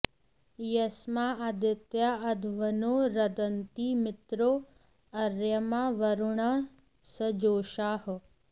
यस्मा॑ आदि॒त्या अध्व॑नो॒ रद॑न्ति मि॒त्रो अ॑र्य॒मा वरु॑णः स॒जोषाः॑